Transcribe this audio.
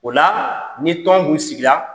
O la, ni tɔn tun sigira